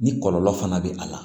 Ni kɔlɔlɔ fana bɛ a la